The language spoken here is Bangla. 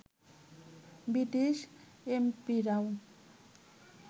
ব্রিটিশ এমপিরাও